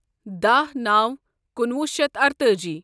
دہ نو کُنوُہ شیتھ ارتأجی